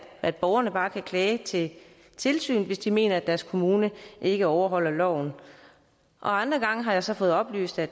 at borgerne bare kan klage til tilsynet hvis de mener deres kommune ikke overholder loven andre gange har jeg så fået oplyst at